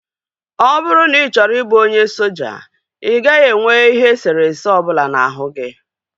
Ọ bụrụ na ị chọrọ ịbụ onye soja, ị gaghị enwe ihe eserese ọbụla n'ahụ gi